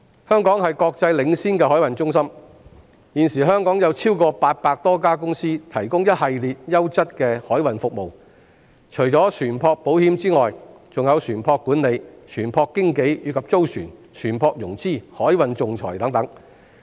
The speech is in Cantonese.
香港是國際領先的海運中心，現時香港有超過800多家公司提供一系列優質的海運服務，除了船舶保險之外，還有船舶管理、船舶經紀，以及租船、船舶融資、海運仲裁等。